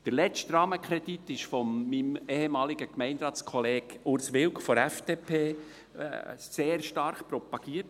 Der letzte Rahmenkredit wurde von meinem ehemaligen Gemeinderatskollegen Urs Wilk von der FDP sehr stark propagiert.